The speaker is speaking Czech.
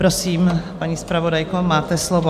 Prosím, paní zpravodajko, máte slovo.